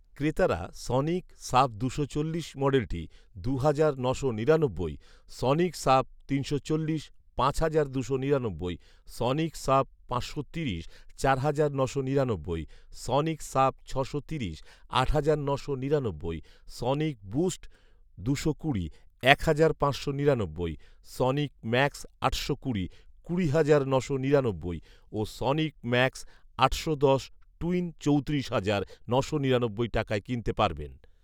ক্রেতারা Sonic sub দুশো চল্লিশ মডেলটি দুই হাজার নশো নিরানব্বই, সনিক সাব তিনশো চল্লিশ পাঁচ হাজার দুশো নিরানব্বই, সনিক সাব পাঁচশো তিরিশ চার হাজার নশো নিরানব্বই, সনিক সাব ছশোতিরিশ আট হাজার নশো নিরানব্বই, সনিক বুস্ট দুশো কুড়ি এক হাজার পাঁচশো নিরানব্বই, সনিক ম্যাক্স আটশো কুড়ি কুড়ি হাজার নশো নিরানব্বই, ও সনিক ম্যাক্স আটশো দশ টুইন চৌতিরিশ হাজার নশো নিরানব্বই টাকায় কিনতে পারবেন